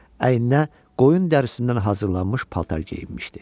Əyninə qoyun dərisindən hazırlanmış paltar geyinmişdi.